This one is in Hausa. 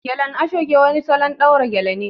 Gelen ashoke wani salon ɗaura gele ne